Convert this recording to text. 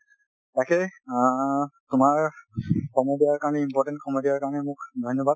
তাকেই অ তোমাৰ সময় দিয়াৰ কাৰণে important সময় দিয়াৰ কাৰণে মোক ধন্যবাদ ।